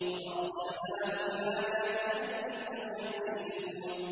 وَأَرْسَلْنَاهُ إِلَىٰ مِائَةِ أَلْفٍ أَوْ يَزِيدُونَ